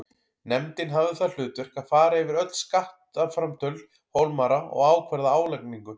Nefndin hafði það hlutverk að fara yfir öll skattframtöl Hólmara og ákvarða álagningu.